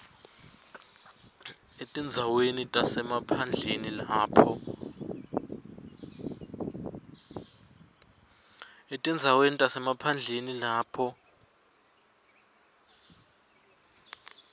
etindzaweni tasemaphandleni lapho